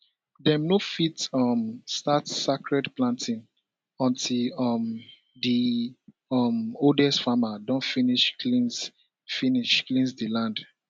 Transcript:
dem no fit um start sacred planting until um di um oldest farmer don finish cleanse finish cleanse di land